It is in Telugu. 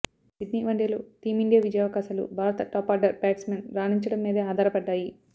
సిడ్నీ వన్డేలో టీమిండియా విజయావకాశాలు భారత టాప్ ఆర్డర్ బ్యాట్స్మెన్ రాణించడం మీదే ఆధారపడ్డాయి